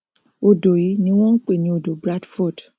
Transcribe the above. odò yìí ni wọn n pè ní odò o bradford